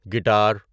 guitar